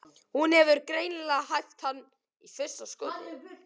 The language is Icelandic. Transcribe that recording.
Hún hefur greinilega hæft hann í fyrsta skoti.